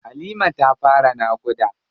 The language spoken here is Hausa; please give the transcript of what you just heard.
Halima ta fara naƙuda.